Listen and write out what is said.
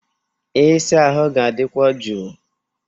Ịsa ahụ ga-adịkwu jụụ.